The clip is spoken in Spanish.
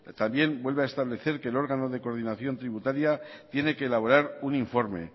también vuelve a establecer que el órgano de coordinación tributaria tiene que elaborar un informe